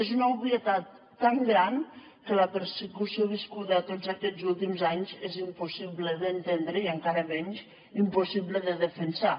és una obvietat tan gran que la persecució viscuda tots aquests últims anys és impossible d’entendre i encara menys impossible de defensar